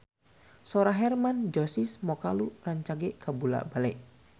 Sora Hermann Josis Mokalu rancage kabula-bale